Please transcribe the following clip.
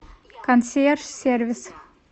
консьерж сервис